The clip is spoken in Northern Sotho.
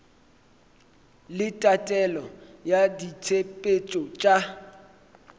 le tatelelo ya ditshepetšo tša